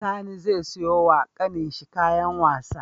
Sani ze siyo wa ƙanin shi kayan wasa